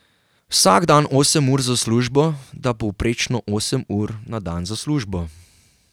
Vsak dan osem ur za službo da povprečno osem ur na dan za službo.